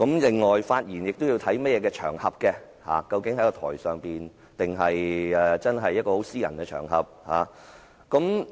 況且，發言也應考慮場合，究竟他是在台上還是在私人場合講話？